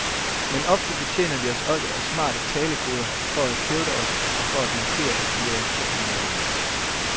Men ofte betjener vi os også af smarte talekoder for at hævde os og for at markere, at vi er gruppemedlemmer.